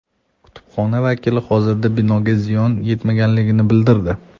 Kutubxona vakili hozirda binoga ziyon yetmaganligini bildirdi.